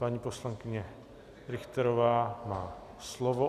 Paní poslankyně Richterová má slovo.